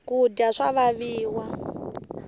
kudya swa vaviwa